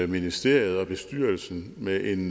ministeriet og bestyrelsen med en